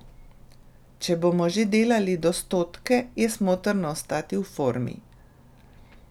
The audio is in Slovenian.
Če bomo že delali do stotke, je smotrno ostati v formi.